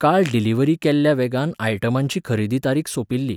काल डिलिव्हरी केल्ल्या वेगन आयटमांची अखेरची तारीख सोंपिल्ली.